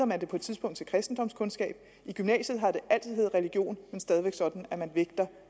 man det på et tidspunkt til kristendomskundskab i gymnasiet har det altid heddet religion men stadig væk sådan